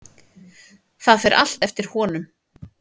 Það fer allt eftir honum.